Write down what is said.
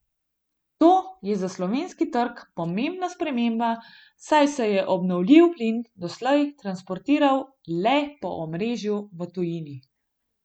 To je za slovenski trg pomembna sprememba, saj se je obnovljiv plin doslej transportiral le po omrežju v tujini.